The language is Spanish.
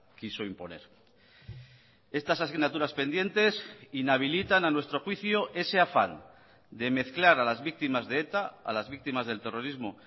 quiso imponer estas asignaturas pendientes inhabilitan a nuestro juicio ese afán de mezclar a las víctimas de eta a las víctimas del terrorismo